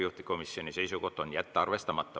Juhtivkomisjoni seisukoht on jätta arvestamata.